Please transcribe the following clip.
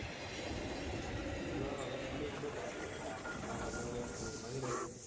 ਮੈਨੂੰ ਐਂ ਲਗਦਾ ਖਮਬੇ ਖਮਬੇ ਪੱਟ ਤੇ ਯਾਰ ਲਾਉਂਦੇ ਲਾਉਂਦੇ ਹੋਣਗੇ ਤਾਹਿ light ਗਈ।